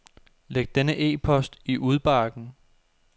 Læg denne e-post i udbakken.